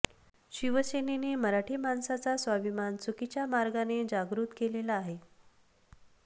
शिवसेनेने मराठी माणसाचा स्वाभिमान चुकीच्या मार्गाने जागृत केलेला आहे